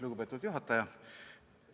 Lugupeetud juhataja!